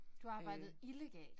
Du arbejdede illegalt?